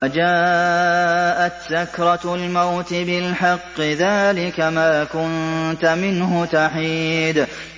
وَجَاءَتْ سَكْرَةُ الْمَوْتِ بِالْحَقِّ ۖ ذَٰلِكَ مَا كُنتَ مِنْهُ تَحِيدُ